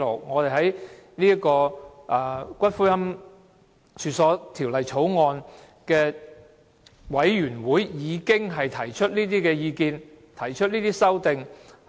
我們在《私營骨灰安置所條例草案》委員會的會議上已提出這些意見和修正案。